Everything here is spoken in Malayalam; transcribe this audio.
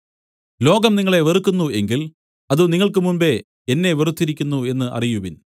ലോകം നിങ്ങളെ വെറുക്കുന്നു എങ്കിൽ അത് നിങ്ങൾക്ക് മുമ്പെ എന്നെ വെറുത്തിരിക്കുന്നു എന്നു അറിയുവിൻ